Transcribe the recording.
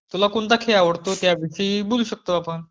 तुला कुठला खेळ आवडतो त्याविषयी बोलू शकतो आपण.